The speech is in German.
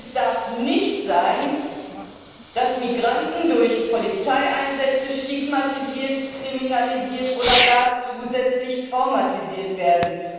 Denn es darf nicht sein, dass Migranten durch Polizeieinsätze stigmatisiert, kriminalisiert oder gar zusätzlich traumatisiert werden.